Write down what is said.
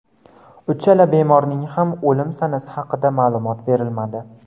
Uchala bemorning ham o‘lim sanasi haqida ma’lumot berilmadi.